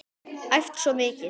Æft svo mikið.